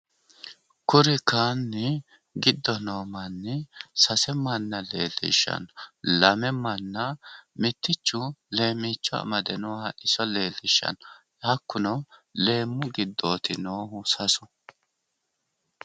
Tini misile leelishanohu sasu manni leemichote giddo leemicho amadde noottati leelishanohu